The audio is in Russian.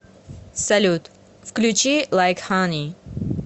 салют включи лайк хани